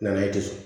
Na ye dusu